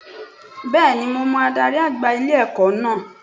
Bẹ́ẹ̀nimo mọ adarí àgbà ilé-ẹ̀kọ́ náà